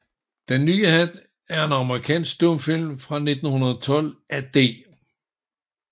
Den nye Hat er en amerikansk stumfilm fra 1912 af D